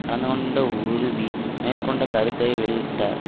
கலந்துகொண்ட உறுபி மேற்கண்ட கருத்தை வெளியிட்டார்